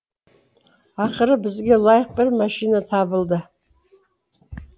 ақыры бізге лайық бір машина табылды